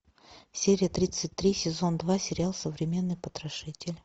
серия тридцать три сезон два сериал современный потрошитель